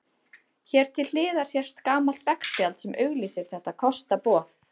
Hér til hliðar sést gamalt veggspjald sem auglýsir þetta kostaboð.